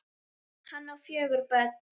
Hann á fjögur börn.